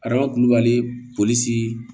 Araba kulubali polisi